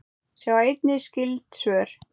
Sjá einnig skyld svör